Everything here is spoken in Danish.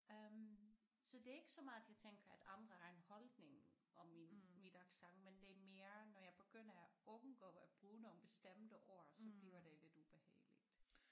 Øh så det er ikke så meget at jeg tænker at andre har en holdning om min mit accent men det er mere når jeg begynder at undgå at bruge nogle bestemte ord så bliver det lidt ubehageligt